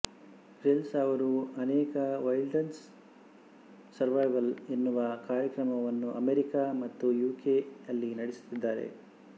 Grylls ಅವರು ಅನೇಕ wilderness survival ಎನ್ನುವ ಕಾರ್ಯಕ್ರಮವನ್ನು ಅಮೇರಿಕಾ ಮತ್ತು ಯು ಕೆ ಅಲ್ಲಿ ನಡೆಸುತ್ತಿದ್ದಾರೆ